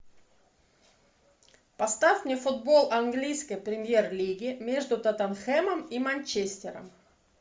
поставь мне футбол английской премьер лиги между тоттенхэмом и манчестером